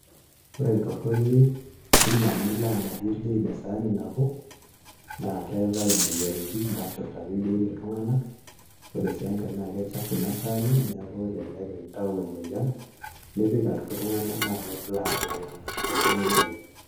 Ore entorroni ina nilo ang'arie ildiain esaani nabo naa keetae imoyiaritin nashurrtaki ildiain iltunganak ore sii enkae naa kechafu ina saani neeku elelek intayu emoyian nipik atua iltunganak na kelo aar iltunganak torrono ina oleng'